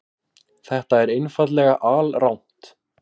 Þetta er einfaldlega alrangt.